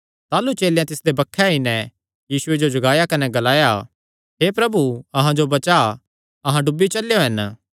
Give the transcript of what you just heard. ताह़लू चेलेयां तिसदे बक्खे आई नैं यीशुये जो जगाया कने ग्लाया हे प्रभु अहां जो बचा अहां डुबी चलेयो हन